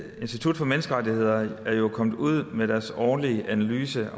institut for menneskerettigheder er jo kommet ud med deres årlige analyse